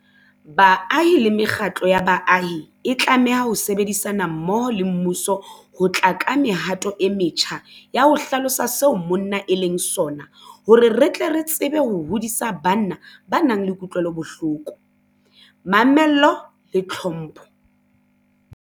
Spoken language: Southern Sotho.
Baahi le mekgatlo ya baahi e tlameha ho sebedisana mmoho le mmuso ho tla ka mehato e metjha ya ho hlalosa seo monna e leng sona hore re tle re tsebe ho hodisa banna ba nang le kutlwelobohloko, mamello le tlhompho.